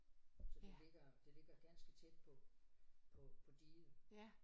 Så det ligger det ligger ganske tæt på på på diget